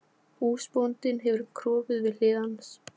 Húsbóndinn hefur kropið við hlið hans.